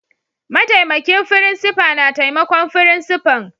Ma'taimakin frincipa na taimakon frincipa'n.